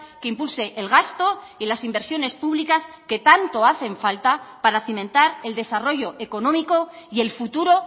que impulse el gasto y las inversiones públicas que tanto hacen falta para cimentar el desarrollo económico y el futuro